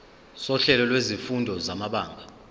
sohlelo lwezifundo samabanga